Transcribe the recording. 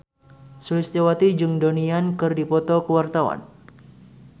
Sulistyowati jeung Donnie Yan keur dipoto ku wartawan